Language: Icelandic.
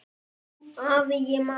Jú, afi, ég man.